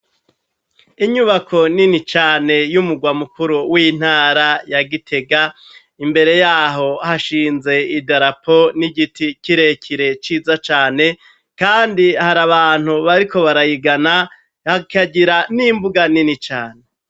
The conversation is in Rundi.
Inyubako nini cane y'umugwa mukuru w'intara ya Gitega, imbere y'aho hashinze idarapo n'igiti kirekire ciza cane, kandi hari abantu bariko barayigana hakagira n'imbuga nini cane.